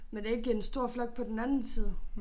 Men det ikke en stor flok på den anden side